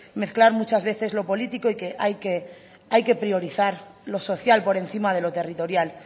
mezclar muchas veces lo político y que hay que priorizar lo social por encima de lo territorial